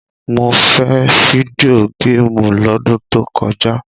Mo fẹ́ fídíò géémù lọ́dún tó kọjá!